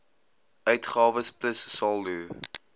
uitgawes plus saldo